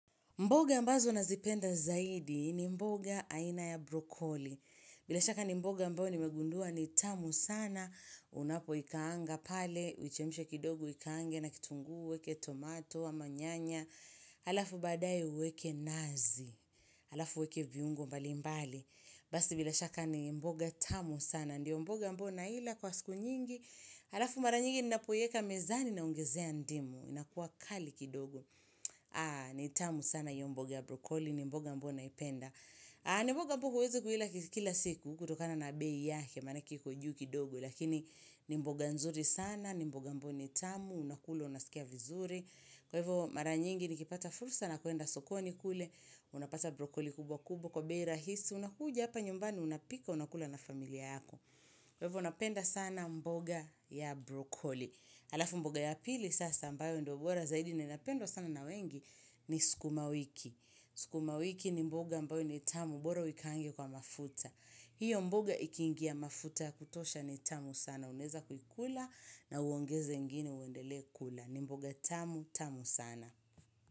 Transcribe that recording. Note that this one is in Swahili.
Mboga ambazo nazipenda zaidi ni mboga aina ya brokoli. Bila shaka ni mboga ambayo nimegundua ni tamu sana. Unapoikaanga pale, uichemshe kidogo uikaange na kitunguu weke tomato ama nyanya. Alafu baadaye uweke nazi. Halafu uweke viungo mbali mbali. Basi bila shaka ni mboga tamu sana. Ndiyo mboga ambayo naila kwa siku nyingi. Alafu mara nyingi ninapoweka mezani naongezea ndimu. Inakuwa kali kidogo. Ni tamu sana hiyo mboga ya brokoli. Ni mboga ambayo naipenda ni mboga ambayo huwezi kuila kila siku kutokana na bei yake manake iko juu kidogo Lakini ni mboga nzuri sana ni mboga ambayo ni tamu Unakula unasikia vizuri Kwa hivyo mara nyingi nikipata fursa na kuenda sokoni kule Unapata brokoli kubwa kubwa Kwa bei rahisi unakuja hapa nyumbani unapika unakula na familia yako Kwa hivyo napenda sana mboga ya brokoli Alafu mboga ya pili Sasa ambayo ndio bora zaidi na inapendwa sana na wengi ni sukuma wiki. Sukuma wiki ni mboga ambayo ni tamu bora uikaange kwa mafuta hiyo mboga ikiingia mafuta ya kutosha ni tamu sana Unaweza kuikula na uongeze ingine uendele kula ni mboga tamu, tamu sana.